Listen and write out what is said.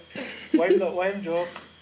уайым жоқ